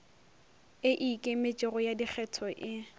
e ikemetšego ya dikgetho e